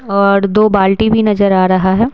और दो बाल्टी भी नजर आ रहा है।